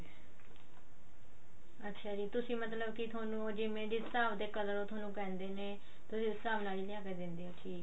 ਅੱਛਿਆ ਜੀ ਤੁਸੀਂ ਮਤਲਬ ਕੀ ਥੋਨੂੰ ਜਿਵੇਂ ਜਿਸ ਹਿਸਾਬ ਦੇ color ਉਹ ਥੋਨੂੰ ਕਹਿੰਦੇ ਨੇ ਤੁਸੀਂ ਉ ਹਿਸਾਬ ਦੇ color ਲਿਆ ਕੇ ਦਿੰਦੇ ਹੋ